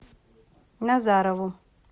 назарову